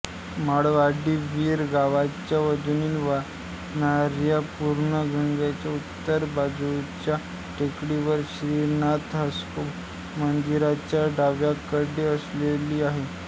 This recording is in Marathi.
माळवाडी वीर गावच्या मधून वाहणाऱ्या पूर्णगंगेच्या उत्तर बाजूच्या टेकडीवर श्रीनाथ म्हस्कोबा मंदिराच्या डावीकडे वसलेली आहे